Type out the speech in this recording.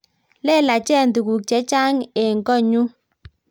Lelachen tuguk chechang' eng' konyun